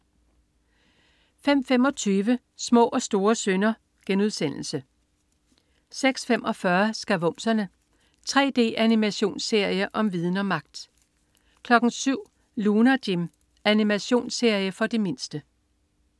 05.25 Små og store synder* 06.45 Skavumserne. 3D-animationsserie om viden og magt! 07.00 Lunar Jim. Animationsserie for de mindste